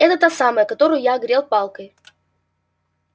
это та самая которую я огрел палкой